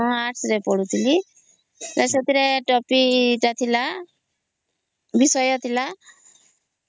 ହଁ ଆର୍ଟ୍ସ ରେ ପଢୁଥିକି ସେଥିରେ ଟୋପିକ ଟା ଥିଲ ବିଷୟ ଥିଲା